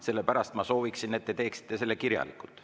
Sellepärast ma sooviksin, et te teeksite selle kirjalikult.